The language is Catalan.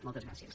moltes gràcies